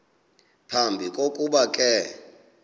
phambi kokuba ke